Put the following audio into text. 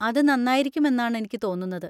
അത് നന്നായിരിക്കും എന്നാണ് എനിക്ക് തോന്നുന്നത്.